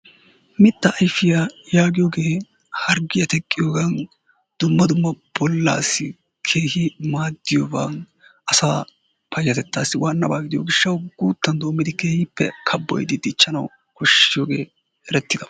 Mitta ayfiyaa yaagiyooge harggiyaa teqqiyoogan dumma dumma bollassi keehi maaddiyooban asaa payatettassi waanaba gidiyo gishshaw guuttan doommidi keehi kabboyyidi dichchanaw koshshiyooge erettidaaba.